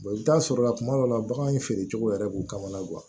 i bɛ taa sɔrɔ la kuma dɔ la bagan feerecogo yɛrɛ b'u kamana guwa